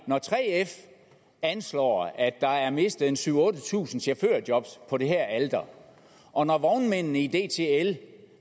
når 3f anslår at der er mistet syv tusind otte tusind chaufførjobs på det alter og når vognmændene i dtl